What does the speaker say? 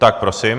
Tak prosím.